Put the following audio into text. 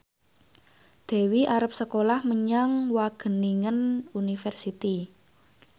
Dewi arep sekolah menyang Wageningen University